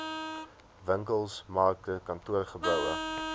winkels markte kantoorgeboue